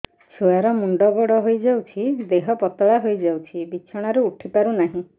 ଛୁଆ ର ମୁଣ୍ଡ ବଡ ହୋଇଯାଉଛି ଦେହ ପତଳା ହୋଇଯାଉଛି ବିଛଣାରୁ ଉଠି ପାରୁନାହିଁ